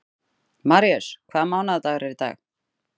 Marís, hvaða mánaðardagur er í dag?